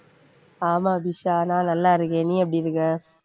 ஆமா தீஷா நான் நல்லா இருக்கேன் நீ எப்படி இருக்க?